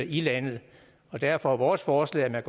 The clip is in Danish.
i landet derfor er vores forslag at man